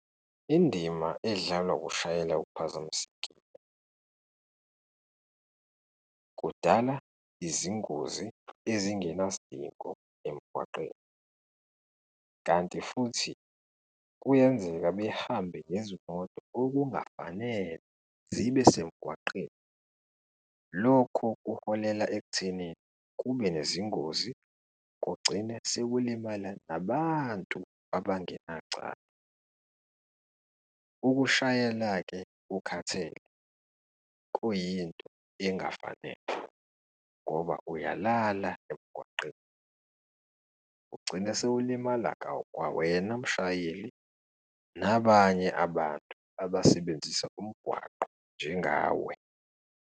Indima edlalwa ukushayela uphazamisekile kudala izingozi ezingenasidingo emgwaqeni, kanti futhi kuyenzeka behambe ngezimoto okungafanele zibe semgwaqeni. Lokhu kuholela ekuthenini kube nezingozi kugcine sekulimala nabantu abangenacala. Ukushayela-ke ukhathele kuyinto engafanele ngoba uyalala emgwaqeni ugcine sewulimala kwawena mshayeli nabanye abantu abasebenzisa umgwaqo njengawe.